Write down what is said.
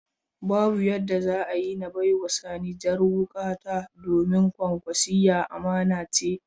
Babu yadda za a yi na bai wa Sani jar hukata, domin Kwankwasiyya amana ce.